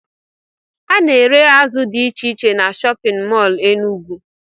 Ana ere azụ dị iche iche n'shóppin mol Enugu.